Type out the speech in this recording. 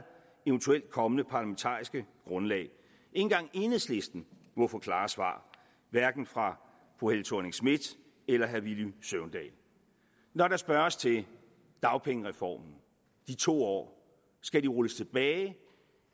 eventuelt kommende parlamentariske grundlag ikke engang enhedslisten må få klare svar hverken fra fru helle thorning schmidt eller herre villy søvndal når der spørges til dagpengereformen de to år skal den rulles tilbage